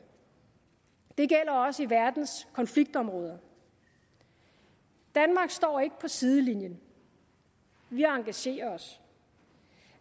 det gælder også i verdens konfliktområder danmark står ikke på sidelinjen vi engagerer os